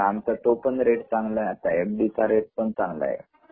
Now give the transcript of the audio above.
आमचा तो पण रेट चांगला आहे एफ.डी चा रेट पण चांगला आहे